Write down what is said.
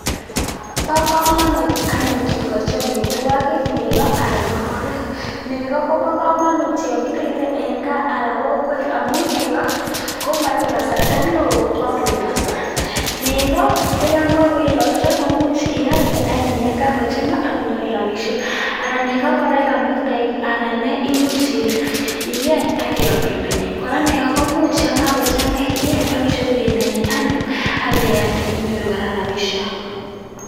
Bo komonut anyun kikochi amitwogiik negoo ana ngororek. Nekoo kobo komonut yon kiribe en gaa anan kokwet, amun nekoo komoibe kasarta newoo kokakoisoo. Nekoo koyon kakoiyosoo koimuch ialdee anyun yon kakochangaa ak inyoru rabisiek. Alan nekoo yon mi toek anan nee much ieny ak iam bendanyiin. Kora negoo koimuch yon kakochangaa ieny ak icheru bendanyiin anyone akeibealdee inyooru kora rabisiek.